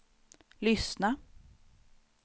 lyssna